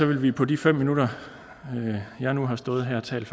vi på de fem minutter jeg nu har stået her og talt